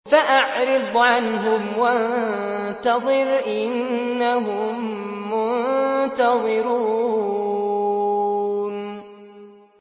فَأَعْرِضْ عَنْهُمْ وَانتَظِرْ إِنَّهُم مُّنتَظِرُونَ